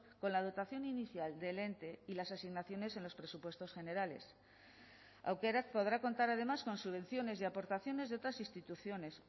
con la dotación inicial del ente y las asignaciones en los presupuestos generales aukerak podrá contar además con subvenciones y aportaciones de otras instituciones